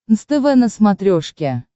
нств на смотрешке